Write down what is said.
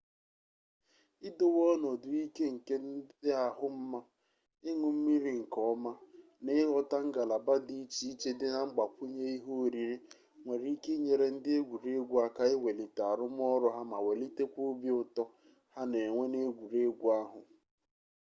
idowe ọnọdụ ike nke dị ahụ mma iñụ mmiri nke ọma na ịghọta ngalaba dị iche iche dị na mgbakwunye ihe oriri nwere ike inyere ndị egwuregwu aka iwelite arụmọrụ ha ma welitekwa obi ụtọ ha na-enwe n'egwuregwu ahụ